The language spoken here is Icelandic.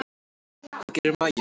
Hvað gerir maginn?